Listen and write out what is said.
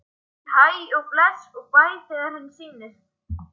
Hún segir hæ og bless og bæ þegar henni sýnist!